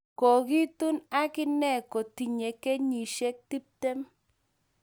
Kiikitun ak inee kotinye kenyishek tiptem